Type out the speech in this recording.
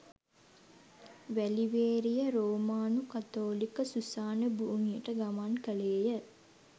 වැලිවේරිය රෝමානු කතෝලික සුසාන භූමියට ගමන් කළේය